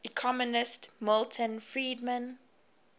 economist milton friedman